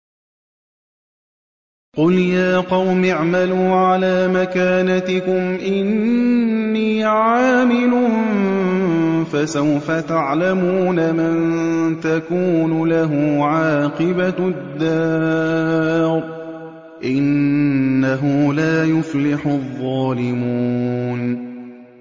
قُلْ يَا قَوْمِ اعْمَلُوا عَلَىٰ مَكَانَتِكُمْ إِنِّي عَامِلٌ ۖ فَسَوْفَ تَعْلَمُونَ مَن تَكُونُ لَهُ عَاقِبَةُ الدَّارِ ۗ إِنَّهُ لَا يُفْلِحُ الظَّالِمُونَ